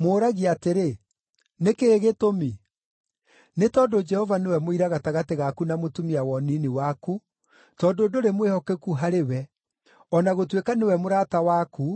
Mũũragia atĩrĩ, “Nĩ kĩĩ gĩtũmi?” Nĩ tondũ Jehova nĩwe mũira gatagatĩ gaku na mũtumia wa ũnini waku, tondũ ndũrĩ mwĩhokeku harĩ we, o na gũtuĩka nĩwe mũrata waku,